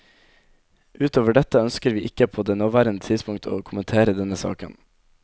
Utover dette ønsker vi ikke på det nåværende tidspunkt å kommentere denne saken.